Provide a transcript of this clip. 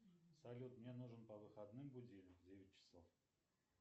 салют мне нужен по выходным будильник в девять часов